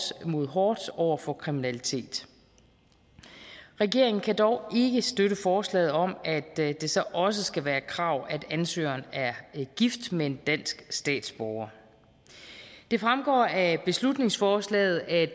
mod hårdt over for kriminalitet regeringen kan dog ikke støtte forslaget om at det så også skal være et krav at ansøgeren er gift med en dansk statsborger det fremgår af beslutningsforslaget at